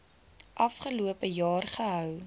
afgelope jaar gehou